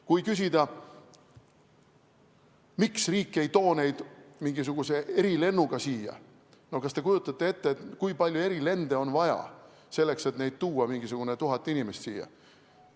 Kui küsida, miks riik ei too neid mingisuguse erilennuga siia, siis kas te kujutate ette, kui palju erilende on vaja selleks, et tuua siia mingisugused 1000 inimest?